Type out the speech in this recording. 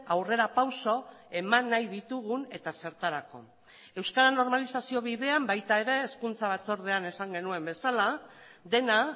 aurrera pauso eman nahi ditugun eta zertarako euskara normalizazio bidean baita ere hezkuntza batzordean esan genuen bezala dena